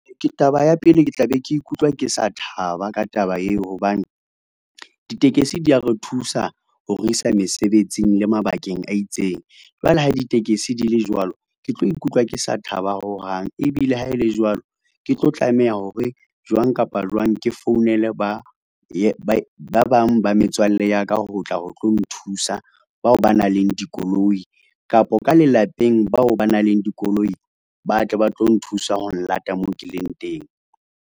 Taba ya pele, ke tla be ke ikutlwa ke sa thaba ka taba eo, hobane ditekesi di a re thusa ho re isa mesebetsing le mabakeng a itseng. Jwale ha ditekesi di le jwalo, ke tlo ikutlwa ke sa thaba ho hang. Ebile ha e le jwalo, ke tlo tlameha hore jwang kapa jwang ke founele ba bang ba metswalle ya ka, ho tla ho tlo nthusa bao ba nang le dikoloi kapa ka lelapeng, bao ba nang le dikoloi ba tle ba tlo nthusa ho nlata moo ke leng teng.